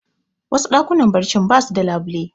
Wasu ɗakunan barci basu da labule